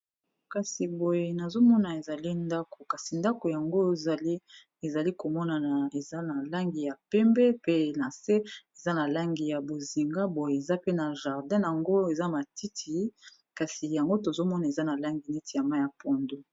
kasi boye nazomona ezali ndako kasi ndako yango ezali komonana eza na langi ya pembe pe na se eza na langi ya bozinga boye eza pe na jardin yango eza matiti kasi yango tozomona eza na langi neti ya ma ya pondu